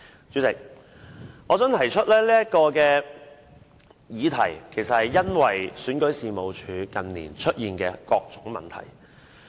主席，我提出這項議題，是因為選舉事務處近年出現的各種問題。